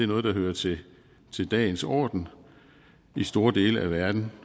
noget der hører til dagens orden i store dele af verden